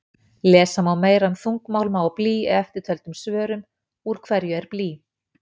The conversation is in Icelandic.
Lesa má meira um þungmálma og blý í eftirtöldum svörum: Úr hverju er blý?